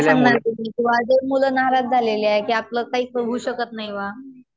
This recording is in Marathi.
काय सांगणार तुम्ही? कि जे मुलं नाराज झालेले आहेत कि आपलं काहीच होऊ शकत नाही बुवा.